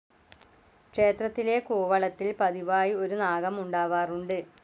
ക്ഷേത്രത്തിലെ കൂവളത്തിൽ പതിവായി ഒരു നാഗം ഉണ്ടാവാറുണ്ട്.